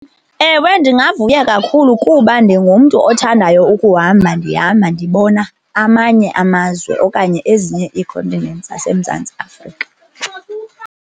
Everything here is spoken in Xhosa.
Ewe, ndingavuya kakhulu kuba ndingumntu othandayo ukuhamba ndihamba ndibona amanye amazwe okanye ezinye ii-continents zaseMzantsi Afrika.